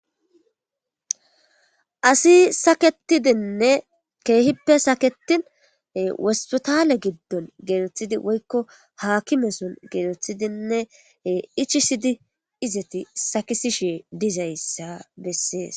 asi saketidinne keehippe saketin wosputale giddon gelethidi woykko hakimeson gelethidinne ichisidi izeti sakisishi dizayssa bessees